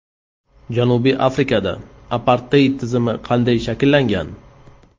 Janubiy Afrikada aparteid tizimi qanday shakllangan?.